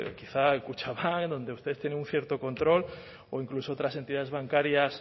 quizá kutxabank donde usted tiene un cierto control o incluso otras entidades bancarias